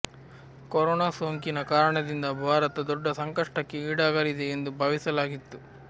corona ಸೋಂಕಿನ ಕಾರಣದಿಂದ ಭಾರತ ದೊಡ್ಡ ಸಂಕಷ್ಟಕ್ಕೆ ಈಡಾಗಲಿದೆ ಎಂದು ಭಾವಿಸಲಾಗಿತ್ತು